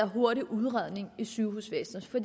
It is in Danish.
hurtige udredning i sygehusvæsenet for